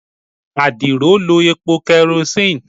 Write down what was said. adiro lo epo kerosene